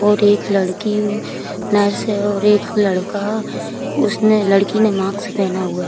और एक लड़की नर्स है और एक लड़का उसने लड़की ने मास्क पहना हुआ है।